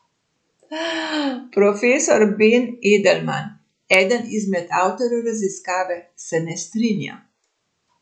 Profesor Ben Edelman, eden izmed avtorjev raziskave, se ne strinja.